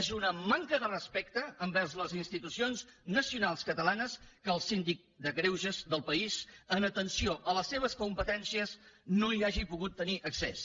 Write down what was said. és una manca de respecte envers les institucions nacionals catalanes que el síndic de greuges del país en atenció a les seves competències no hi hagi pogut tenir accés